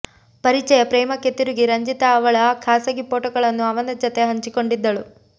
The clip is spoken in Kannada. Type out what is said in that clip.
ಪರಿಚಯ ಪ್ರೇಮಕ್ಕೆ ತಿರುಗಿ ರಂಜಿತಾ ಅವಳ ಖಾಸಗಿ ಫೋಟೋಗಳನ್ನು ಅವನ ಜತೆ ಹಂಚಿಕೊಂಡಿದ್ದಳು